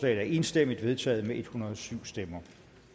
er enstemmigt vedtaget med en hundrede og syv stemmer